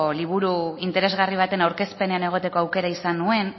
liburu interesgarri baten aurkezpenean egoteko aukera izan nuen